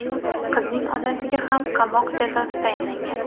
Qizning onasiga ham qamoq jazosi tayinlangan.